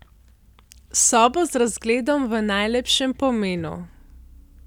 Sobo z razgledom v najlepšem pomenu.